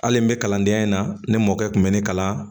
Hali n bɛ kalandenya in na ne mɔkɛ kun bɛ ne kalan